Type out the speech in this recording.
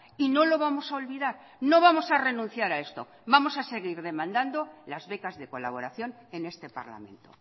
y no lo vamos a olvidar no vamos a renunciar a esto vamos a seguir demandando las becas de colaboración en este parlamento